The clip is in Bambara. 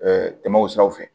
tɛmɛ o siraw fɛ